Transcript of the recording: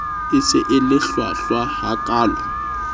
e se e hlwahlwa hakaalo